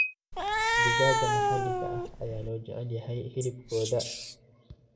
Digaagga maxalliga ah ayaa loo jecel yahay hilibkooda.